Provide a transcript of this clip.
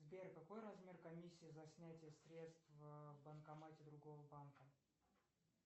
сбер какой размер комиссии за снятие средств в банкомате другого банка